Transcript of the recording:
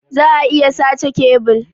Za'a iya sace kebil.